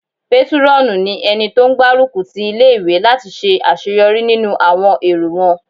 Pétúrọ̀nù ní ẹni tó n gbárùkù ti ilé-ìwé láti ṣe àṣeyọrí nínú àwọn èrò won